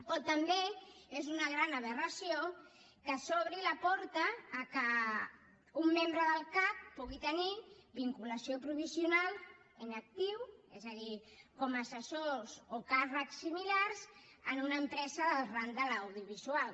com també és una gran aberració que s’obri la porta al fet que un membre del cac pugui tenir vinculació provisional en actiu és a dir com a assessors o càrrecs similars en una empresa del ram de l’audiovisual